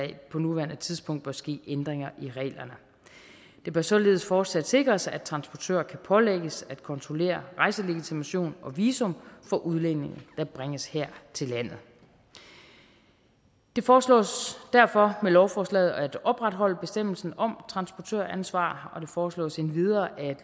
på nuværende tidspunkt bør ske ændringer i reglerne det bør således fortsat sikres at transportør kan pålægges at kontrollere rejselegitimation og visum for udlændinge der bringes her til landet det foreslås derfor med lovforslaget at opretholde bestemmelsen om transportøransvar og det foreslås endvidere